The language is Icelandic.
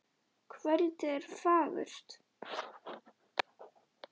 Kvöldið er fagurt.